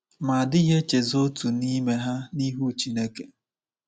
Ma a dịghị echezọ otu n’ime ha n’ihu Chineke.